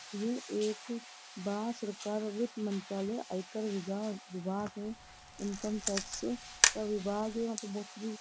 ये एक भारत सरकार वित्त मंत्रालय आयकर विभाग विभाग है इनकम टैक्स का विभाग है वहां पर बहोत सारी --